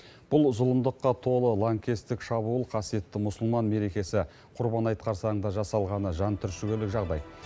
бұл зұлымдыққа толы лаңкестік шабуыл қасиетті мұсылман мерекесі құрбан айт қарсаңында жасалғаны жан түршігерлік жағдай